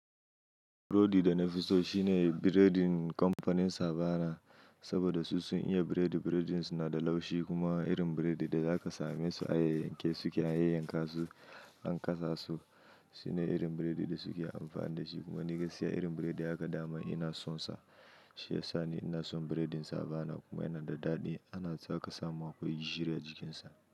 Burodi da na fi so shine, biredin kamfanin Savana, saboda su sun iya biredi. Biredinsu na da laushi, kuma irin biredin da zaka same su a yayanke suke, a yayyanka su, an kasa su. Shine irin biredin da suke amfani da shi, kuma ni gaskiya irin biredi haka, dama ina son sa. Shi ya sa ni ina son biredin Savana, kuma yana da daɗi. Ana zaka samu akwai jire a jikinsa.